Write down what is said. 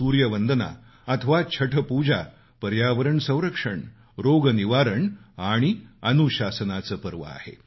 सूर्यवंदना अथवा छठपूजा पर्यावरण संरक्षण रोग निवारण आणि अनुशासनाचं पर्व आहे